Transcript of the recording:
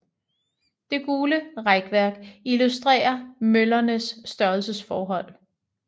Det gule rækværk illustrerer møllernes størrelsesforhold